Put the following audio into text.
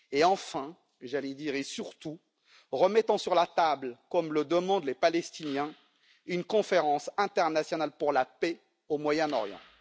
Enfin, j'allais dire, et surtout, remettons sur la table, comme le demandent les Palestiniens, une conférence internationale pour la paix au Moyen Orient.